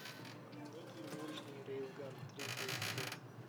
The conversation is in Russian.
некий научный рейлган третий эпизод